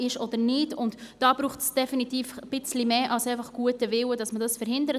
Um diese zu verhindern, dazu braucht es definitiv etwas mehr als bloss guten Willen.